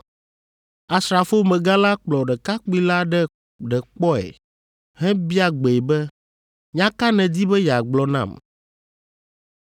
Asrafomegã la kplɔ ɖekakpui la ɖe kpɔe hebia gbee be, “Nya ka nèdi be yeagblɔ nam?”